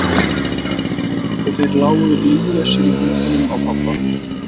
Ein snögg hreyfing og þeir lágu líflausir í höndunum á pabba.